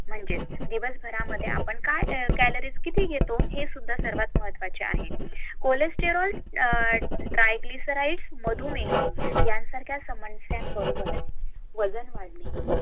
म्हणजेच दिवसभरा मध्ये आपण क्यालईस किती घेतो हे सुद्धा महत्वाचे आहे